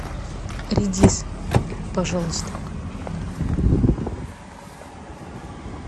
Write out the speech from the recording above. редис пожалуйста